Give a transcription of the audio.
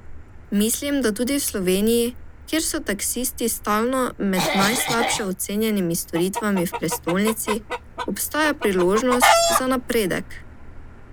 Mislim, da tudi v Sloveniji, kjer so taksisti stalno med najslabše ocenjenimi storitvami v prestolnici, obstaja priložnost za napredek.